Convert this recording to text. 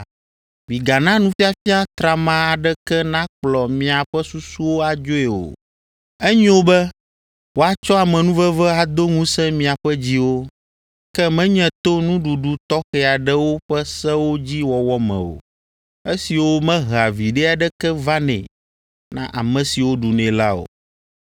Migana nufiafia trama aɖeke nakplɔ miaƒe susuwo adzoe o. Enyo be woatsɔ amenuveve ado ŋusẽ miaƒe dziwo, ke menye to nuɖuɖu tɔxɛ aɖewo ƒe sewo dzi wɔwɔ me o, esiwo mehea viɖe aɖeke vanɛ na ame siwo ɖunɛ la o.